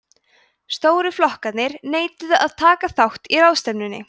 stóru flokkarnir neituðu að taka þátt í ráðstefnunni